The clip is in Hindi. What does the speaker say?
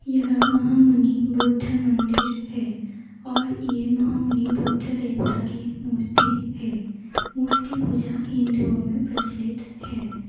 यह महामु‍नि बुद्ध मंदिर हैं और ये महामुनि बुद्ध देवता की मूर्ति हैं मूर्तिपूजा हिन्दुओ में प्रचलित हैं।